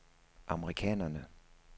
amerikanerne